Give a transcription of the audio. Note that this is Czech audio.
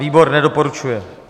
Výbor nedoporučuje.